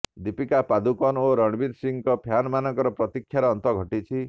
ଦୀପିକା ପାଦୁକୋନ ଓ ରଣବୀର ସିଂଙ୍କ ଫ୍ୟାନମାନଙ୍କର ପ୍ରତିକ୍ଷାର ଅନ୍ତ ଘଟିଛି